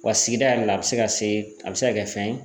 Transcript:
Wa sigida yɛrɛ la a bɛ se ka se a bɛ se ka kɛ fɛn ye.